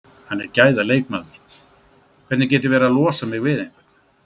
Hann er gæða leikmaður, hvernig get ég verið að losa mig við einhvern?